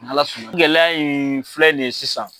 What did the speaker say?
N'Ala sɔnna gɛlɛya in filɛ nin ye sisan.